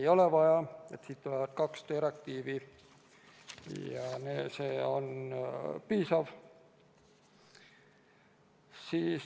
Ei ole vaja, tuleb kaks direktiivi ja see on piisav.